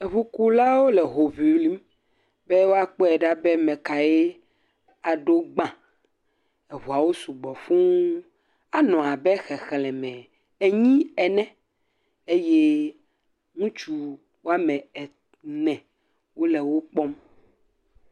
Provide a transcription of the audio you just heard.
Ŋukulawo le ho ŋlim be woakpɔe ɖa be ame kae aɖo gbã. Ŋuawo sugbɔ fũu, anɔ abe xexleme enyi ene eye ŋutsu woame ene wole wo kpɔm.